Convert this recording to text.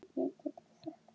Hvað geta börn skilið?